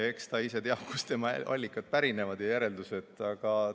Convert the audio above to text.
Eks ta ise teab, kus on tema allikad ja kust järeldused pärinevad.